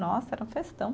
Nossa, era uma festão.